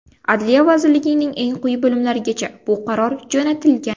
Adliya vazirligining eng quyi bo‘limlarigacha bu qaror jo‘natilgan.